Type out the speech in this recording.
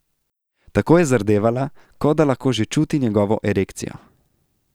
Tako je zardevala, kot da lahko že čuti njegovo erekcijo.